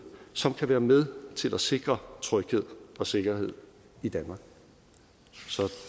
som kan være med at sikre tryghed og sikkerhed i danmark så